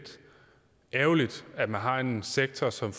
ærgerligt at man har en sektor som